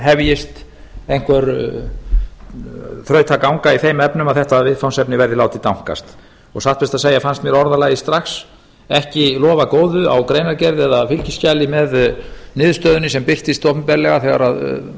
hefjist einhver þrautaganga í þeim efnum að þetta viðfangsefni verði látið dankast og satt best að segja fannst mér orðalagið strax ekki lofa góðu á greinargerð eða fylgiskjali með niðurstöðunni sem birtist opinberlega þegar